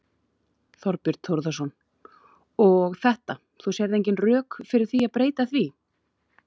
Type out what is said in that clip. Þorbjörn Þórðarson: Og þetta, þú sérð engin rök fyrir því að breyta því?